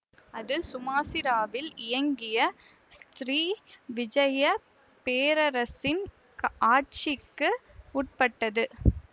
அது சுமாசிராவில் இயங்கிய ஸ்ரீ விஜயப் பேரரசின் ஆட்சிக்கு உட்பட்டது